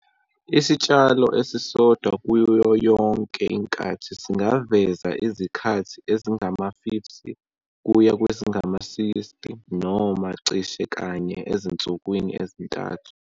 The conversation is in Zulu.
Isitshalo esisodwa kuyo yonke inkathi singaveza izikhathi ezingama-50 kuya kwezingama-60 noma cishe kanye ezinsukwini ezintathu.